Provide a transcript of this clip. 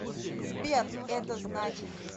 сбер это значит